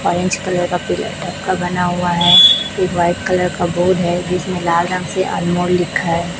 Orange colour का pillar बना हुआ है व्हाइट कलर का बोर्ड है जिसमें लाल रंग से अनमोल लिखा है।